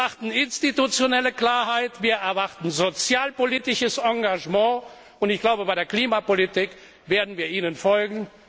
ist. Wir erwarten institutionelle Klarheit, wir erwarten sozialpolitisches Engagement, und ich glaube, bei der Klimapolitik werden wir Ihnen folgen.